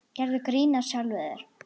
Gerðu grín að sjálfum þér.